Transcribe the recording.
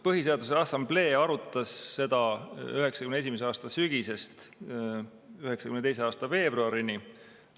Põhiseaduse Assamblee arutas seda 1991. aasta sügisest 1992. aasta veebruarini.